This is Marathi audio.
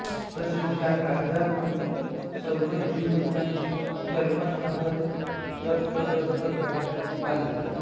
तसेच ह्या कायद्यातून सर्व ज्यू लोकांचे जर्मन नागरिकत्व रद्द करण्यात आले